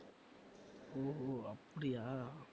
ஓஹோ அப்படியா?